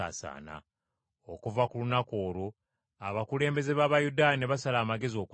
Okuva ku lunaku olwo abakulembeze b’Abayudaaya ne basala amagezi okutta Yesu.